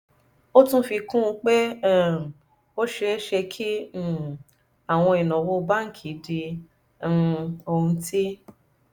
ó tún fi kún un pé um ó ṣeé ṣe kí um àwọn ìnáwó báńkì di um ohun tí